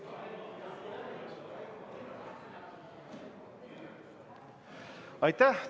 Aitäh!